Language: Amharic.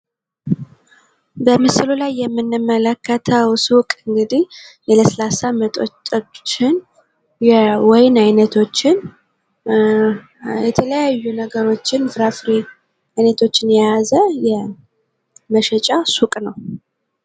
በምስሉ ላይ የምንመለከተው ሱቅ እንግዲህ የለስላሳ መጠጦችን የወይን አይነቶችን፣ የተለያዩ ነገሮችን ፍራፍሬ አይነቶችን የያዘ መሸጫ ሱቅ ነው።